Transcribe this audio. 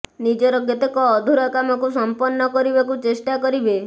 ନିଜର କେତେକ ଅଧୁରା କାମକୁ ସମ୍ପନ୍ନ କରିବାକୁ ଚେଷ୍ଟା କରିବେ